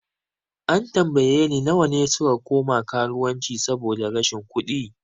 An tambaye ni nawa ne suka koma karuwanci saboda rashin kudi?